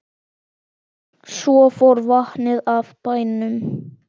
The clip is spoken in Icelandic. Svo fór vatnið af bænum.